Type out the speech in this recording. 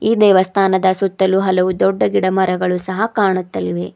ಈ ದೇವಸ್ಥಾನದ ಸುತ್ತಲೂ ಹಲವು ಗಿಡ ಮರಗಳು ಕಾಣುತ್ತಿವೆ.